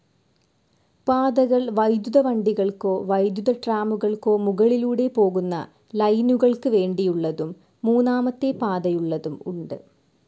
പാതകൾ വൈദ്യുത വണ്ടികൾക്കോ വൈദ്യുതട്രാമുകൾക്കോ മുകളിലൂടെ പോകുന്ന ലൈനുകൾക്ക് വേണ്ടിയുള്ളതും മൂന്നാമത്തെ പാതയുള്ളതും ഉണ്ട്.